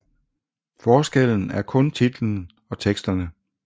Forskellen er kun titlen og teksterne